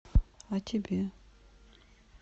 о тебе